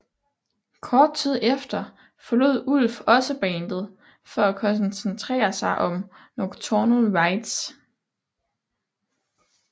Kort tid efter forlod Ulf også bandet for at koncentrere sig om Nocturnal Rites